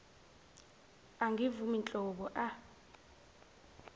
angivumi nhlobo a